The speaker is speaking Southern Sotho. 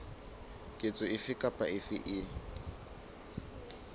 ketso efe kapa efe e